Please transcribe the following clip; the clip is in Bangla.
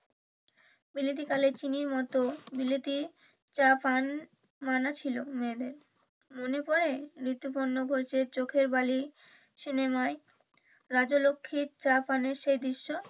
বিলেতি কালের চিনির মতো বিলিতি চা পান মানা ছিল মেয়েদের মনে পড়ে ঋতুপর্ণ ঘোষের চোখের বালি সিনেমায় রাজলক্ষীর চা পানের সেই দৃশ্য,